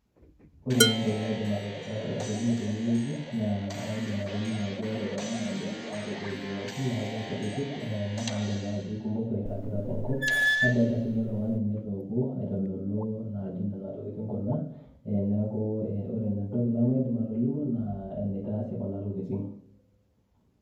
Ore taa entoki naidim atolimu tenewueji, naa aidim atolimu ajo ore kuna naa benek natudung'dung'oki neeku nkutitik, nadolta najo aikumok irragita tenkop, nadolta sinye oltung'ani naa etookuo aitodolu naa ajo nena tokiting kuna, neeku ore entoki namaidim atolimu naa, enitaasi kuna tokiting.